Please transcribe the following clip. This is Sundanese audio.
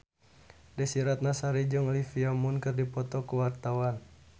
Desy Ratnasari jeung Olivia Munn keur dipoto ku wartawan